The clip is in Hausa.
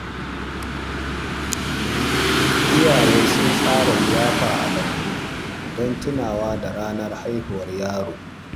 Iyaye sun tsara liyafa a lambu don tunawa da ranar haihuwar yaro.